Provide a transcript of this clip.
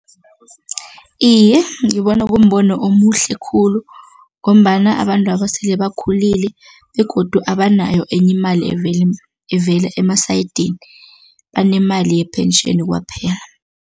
Iye, ngibona kumbono omuhle khulu ngombana abantwaba sele bakhulile begodu abanayo enye imali evela emasayidini, banemali ye-pension kwaphela.